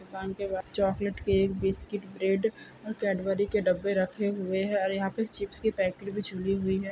दुकान के बाहर चाकलेट केक बिस्कुट ब्रेड और केटबरी के डब्बे रखे हुए है और या फिर चिप्स की पैकेट भी झूली हुई है।